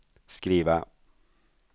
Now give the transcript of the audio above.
skriva